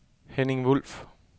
Henning Wulff